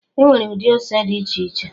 Enwere ụdị ose dị iche iche